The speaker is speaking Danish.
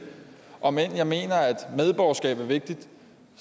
om end jeg mener at medborgerskab er vigtigt